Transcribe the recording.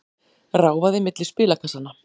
Ráfaði milli spilakassanna.